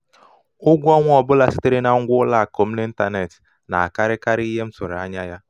ụgwọ ọnwa ọ bụla sitere na na ngwa ụlọ akụ m n'ịntanetị na-akarịkarị ihe m tụrụ anya ya.